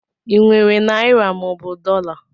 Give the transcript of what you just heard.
I nwere naịra mọobụ dọla?